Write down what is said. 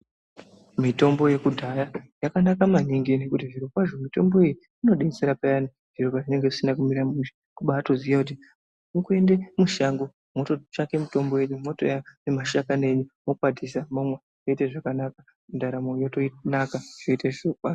Mitombo yekudhaya yakanaka maningi nekuti zviro kwazvo moto iyi inodetsera peyani zviro pavinenge zvisina kumira mushe kubaatoziya kuti kupinde mushango mototsvake mitombo yenyu moouya nemashakani enyu mokwatisa momwa zvoita zvakanaka ndaramo yotonakayoite zviro kwazvo.